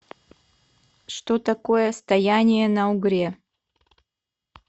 что такое стояние на угре